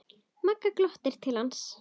Magga glottir til hans.